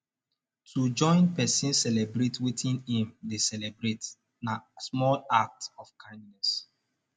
to join persin celebrate wetin im de celebrate na small act of kindness